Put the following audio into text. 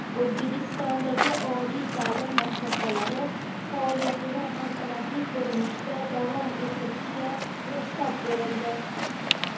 O‘zbekistondagi oliy ta’lim muassasalari faoliyatini an’anaviy ko‘rinishda davom ettirishiga ruxsat berildi.